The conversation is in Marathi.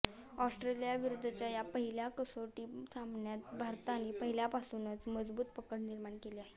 ऑस्ट्रेलियाविरुद्धच्या या पहिल्या कसोटी सामन्यात भारताने पहिल्यापासूनच मजबूत पकड निर्माण केली आहे